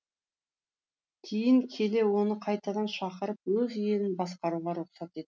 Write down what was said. кейін келе оны қайтадан шақырып өз елін басқаруға рұқсат ет